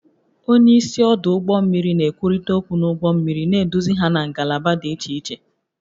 Onye isi ọdụ ụgbọ mmiri na-ekwurịta okwu na ụgbọ mmiri, na-eduzi ha na ngalaba dị iche iche